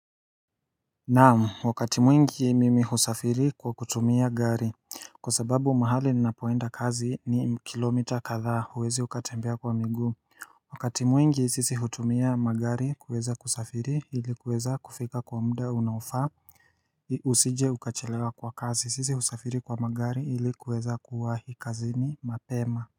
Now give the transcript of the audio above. Naam, wakati mwingi mimi husafiri kwa kutumia gari, kwa sababu mahali ninapoenda kazi ni kilomita katha huwezi ukatembea kwa miguu Wakati mwingi sisi hutumia magari kuweza kusafiri ilikuweza kufika kwa muda unaofaa usije ukachelewa kwa kazi sisi husafiri kwa magari ilikuweza kuwahi kazini mapema.